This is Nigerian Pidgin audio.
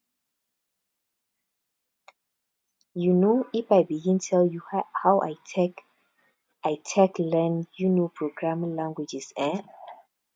um if i begin tell you how i take i take learn um programming languages eh